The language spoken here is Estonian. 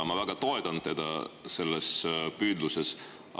Ma väga toetan teda selles püüdluses.